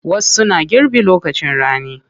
Wasu na girbi lokacin rani.